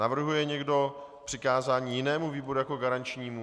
Navrhuje někdo přikázání jinému výboru jako garančnímu?